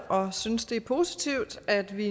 og synes det er positivt at vi